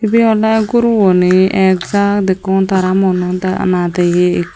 ibey oley guro guney ek jaak dekkung tara muono nadeye ikko.